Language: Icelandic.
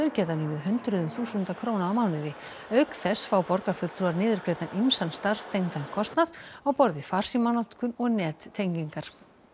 geta numið hundruðum þúsunda króna á mánuði auk þess fá borgarfulltrúar niðurgreiddan ýmsan starfstengdan kostnað á borð við farsímanotkun og nettengingar